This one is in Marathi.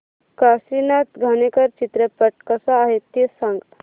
काशीनाथ घाणेकर चित्रपट कसा आहे ते सांग